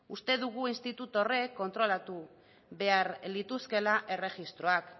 uste dugu institutu horrek kontrolatu behar lituzkeela erregistroak